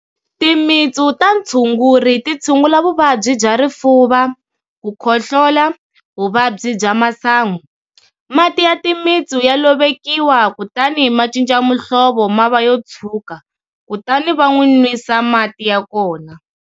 Timitsu ta ntshuguri ti tshungula vuvabyi bya rifuva, ku khohlola, vuvabyi bya masangu. Mati ya timitsu ya lovekiwa kutani ma cinca muhlovo ma va yo tshwuka kutani va n'wi nwisa mati ya kona.